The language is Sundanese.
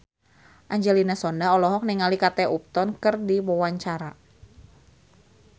Angelina Sondakh olohok ningali Kate Upton keur diwawancara